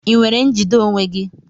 Ị nwere njide onwe gị?